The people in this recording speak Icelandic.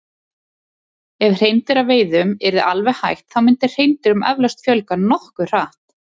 Ef hreindýraveiðum yrði alveg hætt þá myndi hreindýrum eflaust fjölga nokkuð hratt.